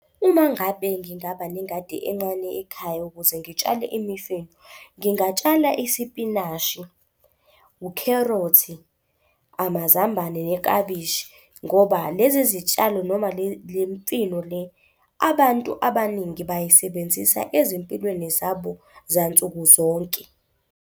Uma ngabe ngingaba nengadi ekhaya ukuze ngitshale imifino, ngingatshala isipinashi, ukherothi, amazambane nekabishi ngoba lezi zitshalo noma le mfino le, abantu abaningi bayisebenzisa ezimpilweni zabo zansukuzonke.